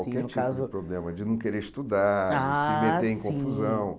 Qualquer tipo de problema, de não querer estudar, ah sim se meter em confusão.